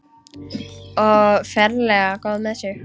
Og ferlega góð með sig.